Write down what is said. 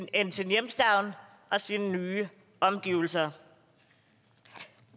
end sin hjemstavn og sine nye omgivelser